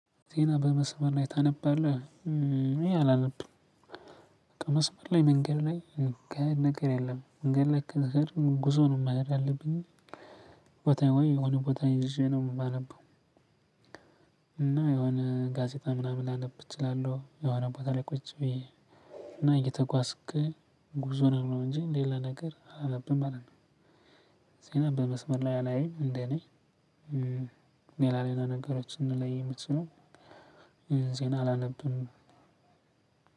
ዜና በመስበር ላይ ታነባለህ እኔ አላነብም በቃ መስበር ላይ መንገድ ላይ ነገር የለም ነገር ላይ ነገር ጉዞ ነው መረጃ አለብኝ። ቦታ ሆይ የሆነ ቦታ ይዤ ነው የማነበው። እና የሆነ ጋዜጣ ምናምን ላነብ እችላለሁ የሆነ ቦታ ላይ ቁጭ ብዬ። እና እየተጓዝክ ጉዞ ሆነህ ነው እንጂ ሌለ ነገር አላነብም ማለት ነው። ዜና በመስመር ላይ አላይም እንደኔ። ሌላ ሌላ ነገሮችን ነው ላይ የምችለው። ዜና አላነብም።